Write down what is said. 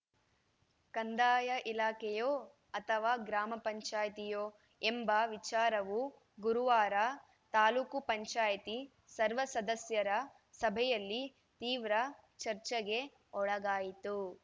ಕಂದಾಯ ಇಲಾಖೆಯೋ ಅಥವಾ ಗ್ರಾಮ ಪಂಚಾಯಿತಿಯೋ ಎಂಬ ವಿಚಾರವು ಗುರುವಾರ ತಾಲೂಕ್ ಪಂಚಾಯತಿ ಸರ್ವ ಸದಸ್ಯರ ಸಭೆಯಲ್ಲಿ ತೀವ್ರ ಚರ್ಚೆಗೆ ಒಳಗಾಯಿತು